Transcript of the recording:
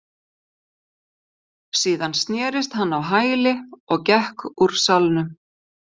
Síðan snerist hann á hæli og gekk úr salnum.